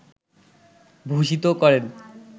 ভূষিত করেন